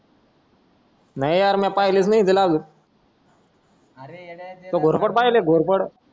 नाय हारण्य पाहलीच नाय येत लावलं अरे येड्या घोरपड पाहिलीय घोरपड